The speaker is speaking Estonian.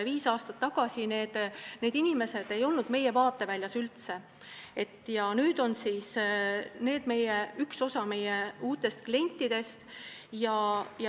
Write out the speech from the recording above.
Viis aastat tagasi ei olnud need inimesed üldse meie vaateväljas ja nüüd on nad üks osa meie uutest klientidest.